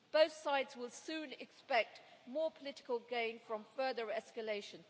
Both sides will soon expect more political gain from further escalation.